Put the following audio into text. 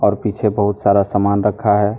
और पीछे बहुत सारा सामान रखा है।